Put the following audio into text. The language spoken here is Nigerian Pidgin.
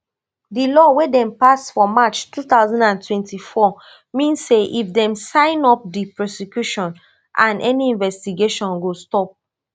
di law wey dem pass for march two thousand and twenty-four mean say if dem sign up di prosecution and any investigation go stop